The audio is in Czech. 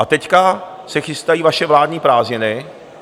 A teď se chystají vaše vládní prázdniny.